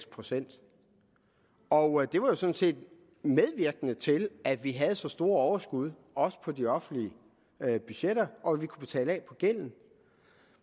procent og det var sådan set medvirkende til at vi havde så store overskud også på de offentlige budgetter og at vi kunne betale af på gælden